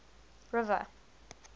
river